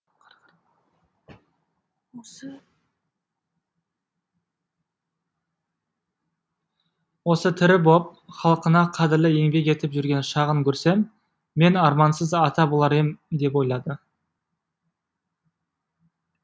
осы тірі боп халқына қадірлі еңбек етіп жүрген шағын көрсем мен армансыз ата болар ем деп ойлады